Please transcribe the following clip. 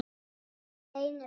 Það reynir á mann!